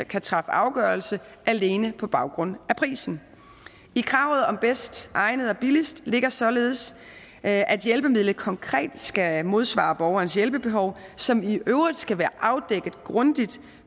kan træffe afgørelse alene på baggrund af prisen i kravet om det bedst egnede og det billigste ligger således at at hjælpemidlet konkret skal modsvare borgerens hjælpebehov som i øvrigt skal være afdækket grundigt